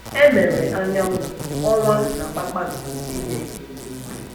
E mere anyanwụ, ọnwa, na kpakpando ‘ inye ìhè n’ụwa. ’